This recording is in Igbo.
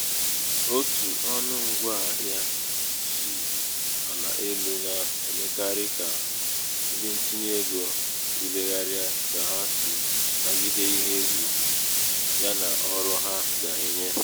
otu ọnụ ṅgwa ahịā sì àla elū nà-èmekarị kà ndịntinyeego tùlegharịa kà ha sì ànagide ihe egwù ya nà ọrụ ha gà-ènye